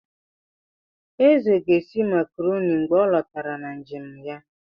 Eze ga-esi makarọni mgbe ọ lọtara na njem ya.